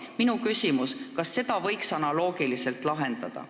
Minu küsimus: kas selle probleemi võiks analoogiliselt lahendada?